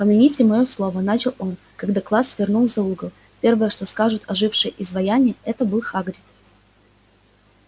помяните моё слово начал он когда класс свернул за угол первое что скажут ожившие изваяния это был хагрид